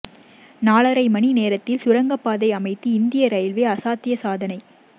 நாலரை மணி நேரத்தில் சுரங்கப்பாதை அமைத்து இந்திய ரயில்வே அசாத்திய சாதனை